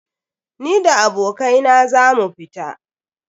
Ni da abokai na za mu fita.